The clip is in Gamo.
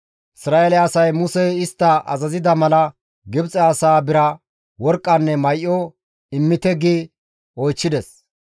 Isra7eele asay Musey istta azazida mala, Gibxe asaa bira, worqqanne may7o, «Immite» gi oychchides.